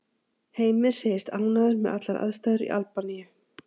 Heimir segist ánægður með allar aðstæður í Albaníu.